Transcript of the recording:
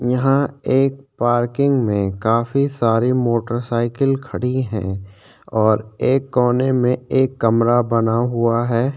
यहाँ एक पार्किंग में काफी सारी मोटरसाइकिल खड़ी हैं और एक कोने में एक कमरा बना हुआ है।